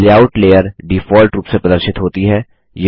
layout layer default रूप से प्रदर्शित होती है